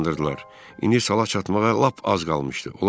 İndi sala çatmağa lap az qalmışdı.